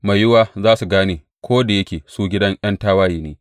Mai yiwuwa za su gane, ko da yake su gidan ’yan tawaye ne.